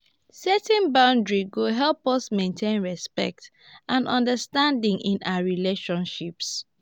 setting boundaries go help us maintain respect and understanding in our relationships.